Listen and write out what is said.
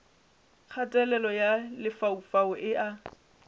kgatelelo ya lefaufau e a